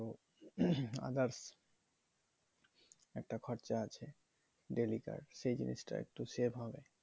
others একটা খরচা আছে daily কার সেই জিনিসটা একটু save হবে